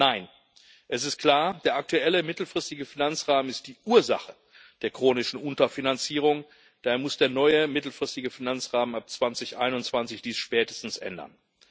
Nein, es ist klar Der aktuelle mittelfristige Finanzrahmen ist die Ursache der chronischen Unterfinanzierung, daher muss der neue mittelfristige Finanzrahmen ab 2021 dies spätestens ändern.